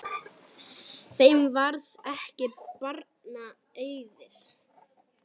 Þeim varð ekki barna auðið.